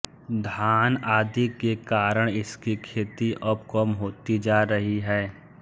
धान आदि के कारण इसकी खेती अब कम होती जा रही है